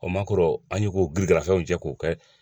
O maa k'orɔ an y'o k'o girigarafɛnw cɛ k'o kɛ